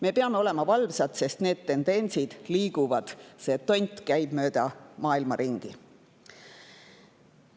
Me peame olema valvsad, sest need tendentsid liiguvad, see tont käib mööda maailma ringi.